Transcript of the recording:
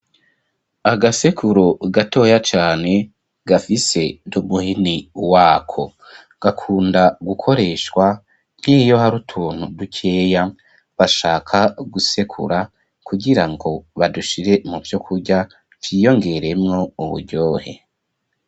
Agasekuru gatoya cane gafise numuhini wako gakunda gukoreshwa nkiyo hari utuntu dukeya bashaka gusekura kugirango badushire mu vyo kurya vyiyongeremwo uburyohe.